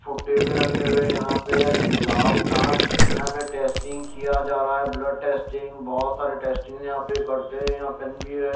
फुट्टे भी रखे हुए हैं यहाँ पे लल लाभ जाँच यहाँ पे टेस्टिंग किया जा रहा है ब्लड टेस्टिंग बहुत सारे टेस्टिंग यहाँ पे करते हैं यहाँ पे पेन भी है।